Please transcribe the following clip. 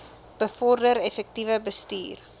bevorder effektiewe bestuur